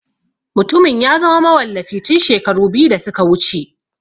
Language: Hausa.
Mutumin ya zama mawallafi tun shekaru biyu da suka wuce.